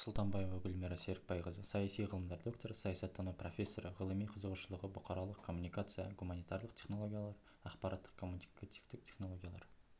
сұлтанбаева гүлмира серікбайқызы саяси ғылымдар докторы саясаттану профессоры ғылыми қызығушылығы бұқаралық коммуникация гуманитарлық технологиялар ақпараттық-коммуникативтік технологиялар